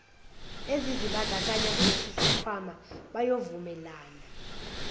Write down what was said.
ezizibandakanya kulesisikhwama bayovumelana